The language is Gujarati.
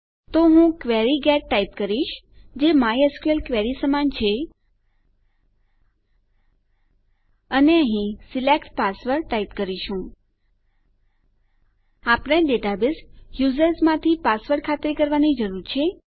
તો હું ક્વેરી ગેટ ટાઈપ કરીશ જે માયસ્કલ ક્વેરી સમાન છે અને અહીં સિલેક્ટ પાસવર્ડ ટાઈપ કરીશું આપણે ડેટાબેઝ યુઝર્સ માંથી પાસવર્ડ ખાતરી કરવાની જરૂર છે